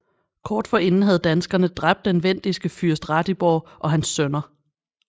Kort forinden havde danskere dræbt den vendiske fyrst Ratibor og hans sønner